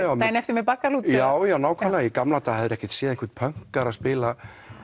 daginn eftir með Baggalút eða já já nákvæmlega í gamla daga hefðirðu ekkert séð einhvern pönkara spila